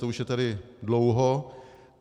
To už je tady dlouho.